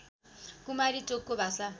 कुमारी चोकको भाषा